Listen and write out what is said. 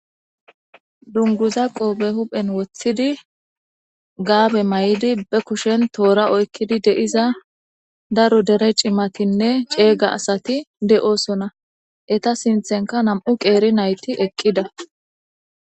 Dunguza qoobe huphen woththidi gaabe may'idi be kushen toora oykkidi de'iza daru dere cimatinne ceeyga asati de'oosona eta sinthenka nam'u qeeri nayti eqqida.